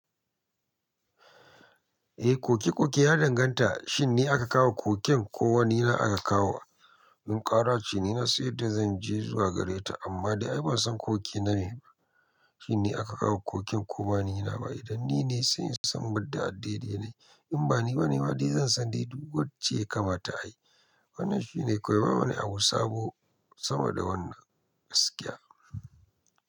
Eh, koke-koke ya danganta. Shin ne aka kawo ƙoƙen ko wani na aka kawo? In ƙara ce ni nasan yanda zan je zuwa gare ta, amma dai ban san koke na me ba. Shin ni aka kawo koken ko ba ni na ba? Idan ni ne, sai in san mada a daidai na. In ba ni ba ne ma dai zan san dai duk wacce yakamata ayi. Wannan shine, kawai bawani abu sabo sama da wannan gaskiya.